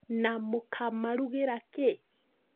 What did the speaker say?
Na mũkamarũgĩra kĩ?